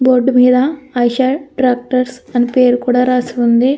Board మీద Eicher tractors అని పేరు కూడా రాసి ఉంది.